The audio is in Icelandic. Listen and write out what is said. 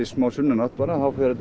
smá sunnanátt þá fer þetta